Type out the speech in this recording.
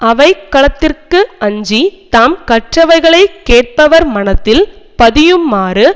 அவைக்களத்திற்கு அஞ்சி தாம் கற்றவைகளை கேட்பவர் மனத்தில் பதியுமாறு